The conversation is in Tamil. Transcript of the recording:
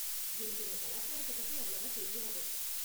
எனக்கு உங்க கலாச்சாரத்த பத்தி அவ்வளவா தெரியாது.